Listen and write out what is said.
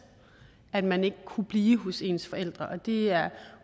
at man ikke kunne blive hos ens forældre og det er